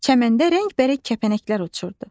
Çəməndə rəngbərəng kəpənəklər uçurdu.